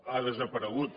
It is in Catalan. ha desaparegut